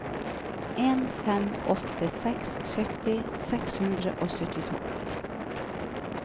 en fem åtte seks sytti seks hundre og syttito